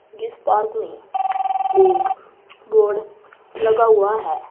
जिस पार्क में एक बोर्ड लगा हुआ है।